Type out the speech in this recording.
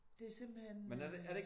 Det er simpelthen